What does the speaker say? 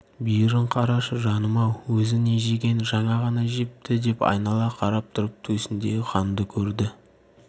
бүйірін қарашы жаным-ау өзі не жеген жаңа ғана жепті деп айнала қарап тұрып төсіндегі қанды көрді